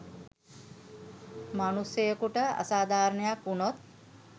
මනුස්සයෙකුට අසාධාරණයක් වුනොත්